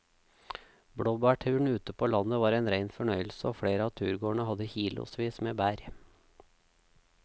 Blåbærturen ute på landet var en rein fornøyelse og flere av turgåerene hadde kilosvis med bær.